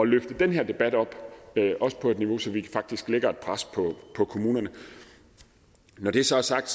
løfte den her debat op på et niveau så vi faktisk lægger et pres på kommunerne når det så er sagt